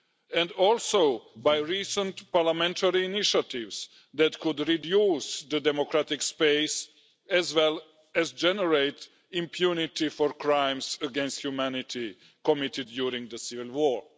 and also by recent parliamentary initiatives that could reduce the democratic space as well as generate impunity for crimes against humanity committed during the civil war.